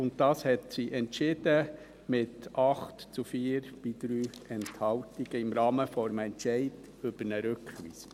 Dies hat sie mit 8 zu 4 Stimmen bei 3 Enthaltungen entschieden, im Rahmen des Entscheids über eine Rückweisung.